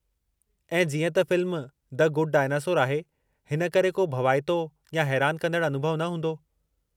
ऐं जीअं त फ़िल्मु द गुड डायनासोर आहे, हिन करे को भवाइतो या हैरान कंदड़ु अनुभउ न हूंदो।